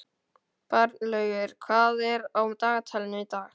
Bjarnlaugur, hvað er á dagatalinu í dag?